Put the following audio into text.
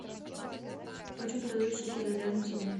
почем продают шекели рядом со мной